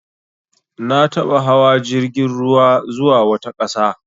Na taɓa hawa jirgin ruwa zuwa wata ƙasa.